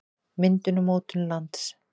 myndun og mótun lands